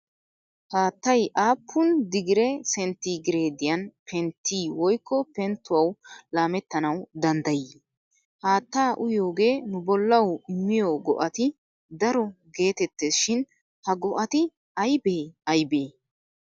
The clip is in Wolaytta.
Haattay aappun digire sentti gireediyan penttii woykko penttuwawu laamettanawu danddayii? "Haattaa uyiyogee nu bollawu immiyo go'ati daro" geetettees shin ha go'ati aybee aybee?